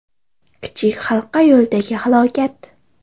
Kichik Halqa yo‘lidagi halokat.